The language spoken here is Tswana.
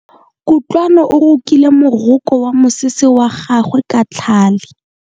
Kutlwano o rokile moroko wa mosese wa gagwe ka tlhale.